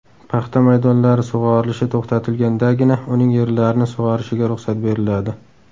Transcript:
Paxta maydonlari sug‘orilishi to‘xtatilgandagina uning yerlarini sug‘orishiga ruxsat beriladi.